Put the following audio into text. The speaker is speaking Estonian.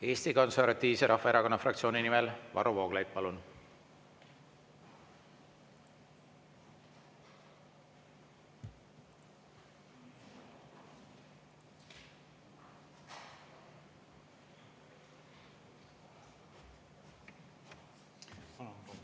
Eesti Konservatiivse Rahvaerakonna fraktsiooni nimel Varro Vooglaid, palun!